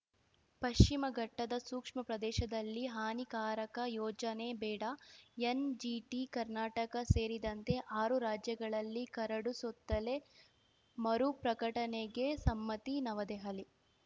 ಪಶ್ಚಿಮ ಘಟ್ಟದ ಸೂಕ್ಷ್ಮ ಪ್ರದೇಶದಲ್ಲಿ ಹಾನಿಕಾರಕ ಯೋಜನೆ ಬೇಡ ಎನ್‌ಜಿಟಿ ಕರ್ನಾಟಕ ಸೇರಿದಂತೆ ಆರು ರಾಜ್ಯಗಳಲ್ಲಿ ಕರಡು ಸುತ್ತಲೆ ಮರುಪ್ರಕಟಣೆಗೆ ಸಮ್ಮತಿ ನವದೆಹಲಿ